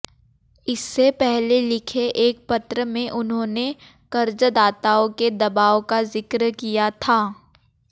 इससे पहले लिखे एक पत्र में उन्होंने कर्जदाताओं के दबाव का जिक्र किया था